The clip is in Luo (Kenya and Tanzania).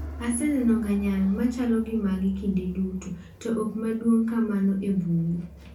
"Asega neno ngyang' machalo gi magi kinde duto, to ok madongo kamano e bungu."